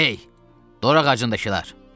Hey, Dorağacındakılar!